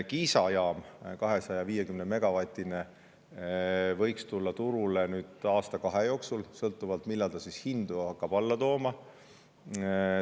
Kiisa jaam on 250-megavatine ja see võiks tulla turule nüüd aasta-kahe jooksul, sõltuvalt sellest, millal see hakkab hindu alla tooma.